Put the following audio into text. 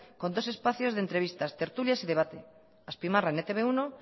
con dos espacios de entrevistas tertulias y debate azpimarra en etb uno